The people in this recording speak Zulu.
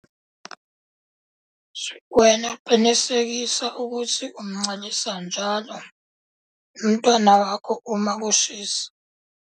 Wena qinisekisa ukuthi umncelisa njalo umntwana wakho uma kushisa.